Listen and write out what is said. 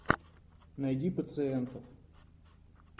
найди пациентов